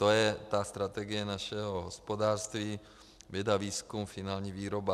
To je ta strategie našeho hospodářství - věda, výzkum, finální výroba.